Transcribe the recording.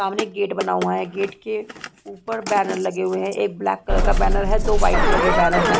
सामने एक गेट बना हुआ है गेट के ऊपर बैनर लगे हुए है एक ब्लैक कलर का बैनर है दो वाइट कलर के बैनर है।